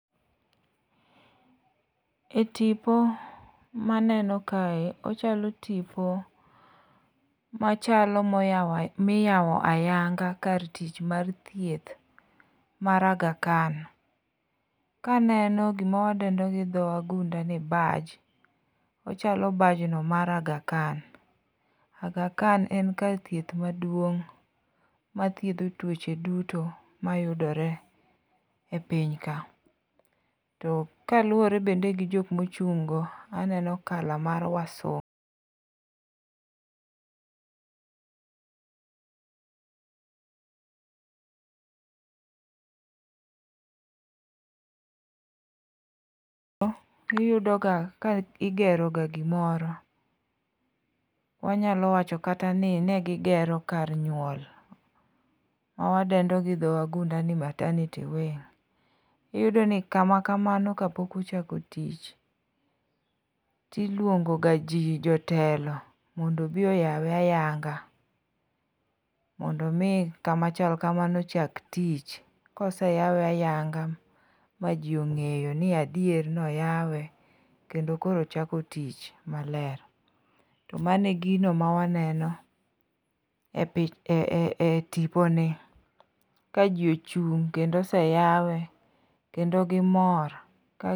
E tipo maneno kae ochalo tipo machalo miyawo ayanga ka tich mar thieth mar Agha Khan, kaneno gimawadendo gi dho wagund ni badge. Ochalo badge no mar Agha Khan, Agha Khan en kar thieth maduong' mathiedho tuoche duto mayudore e piny ka. To kaluwore bende gi jok mochung'go, aneno colour mar wasunge, iyudoga ka igeroga gimoro, wanyalo wacho kata ni ne gigero kar nyuol, mawadendo gi dho wagunda ni martenity wing. Iyudo ni kama kamano, kapok ochako tich, tilwongoga ji, jotelo mondo obi oyawe ayanga, mondo omi kama chal kamano chak tich koseyawe ayanga ma ji ong'eyo ni adier noyawe kendo koro ochako tich maler, to mano e gino mawaneno e tiponi, ka ji ochung' kendo oseyawe ,kendo gimor ka.